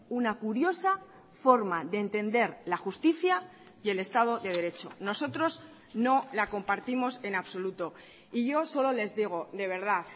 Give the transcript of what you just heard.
una curiosa forma de entender la justicia y el estado de derecho nosotros no la compartimos en absoluto y yo solo les digo de verdad